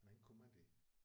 Hvordan kunne man det